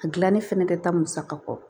A gilanni fɛnɛ ka taa musaka kɔ